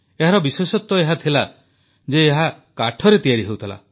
ଏହାର ବିଶେଷତ୍ୱ ଏହାଥିଲା ଯେ ଏହା କାଠରେ ତିଆରି ହେଉଥିଲା